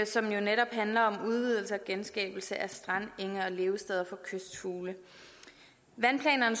som jo netop handler om udvidelse og genskabelse af strande enge og levesteder for kystfugle vandplanerne